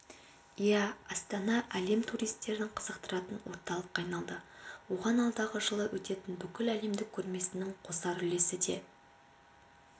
иә астана әлем туристерін қызықтыратын орталыққа айналды оған алдағы жылы өтетін бүкіләлемдік көрмесінің қосар үлесі де